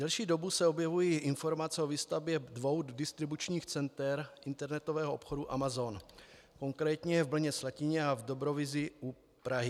Delší dobu se objevují informace o výstavbě dvou distribučních center internetového obchodu Amazon, konkrétně v Brně-Slatině a v Dobrovízi u Prahy.